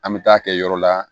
An bɛ taa kɛ yɔrɔ la